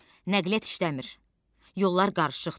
Nəqliyyat işləmir, yollar qarışıqdır.